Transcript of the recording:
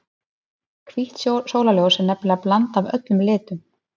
hvítt sólarljós er nefnilega blanda af öllum litum